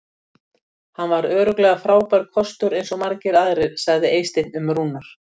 Hann var örugglega frábær kostur eins og margir aðrir sagði Eysteinn um Rúnar.